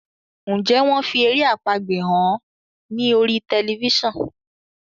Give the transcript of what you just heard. Njé wón fí èrè àpagbè hàn ní orí Tẹlifísàn?